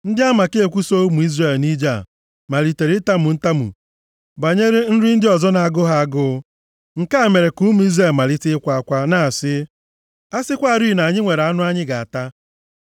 Ndị amakekwu so ụmụ Izrel nʼije a malitere itamu ntamu banyere nri ndị ọzọ na-agụ ha agụụ. Nke a mere ka ụmụ Izrel malite ịkwa akwa, na-asị, “A sịkwarị na anyị nwere anụ anyị ga-ata.